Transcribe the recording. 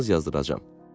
kağız yazdıracam.